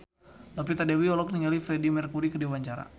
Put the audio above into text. Novita Dewi olohok ningali Freedie Mercury keur diwawancara